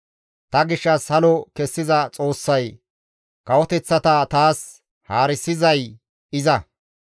Ta gishshas halo kessiza Xoossay, kawoteththata taas haarisizay iza.